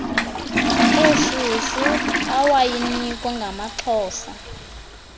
eshushu awayinikwa ngamaxhosa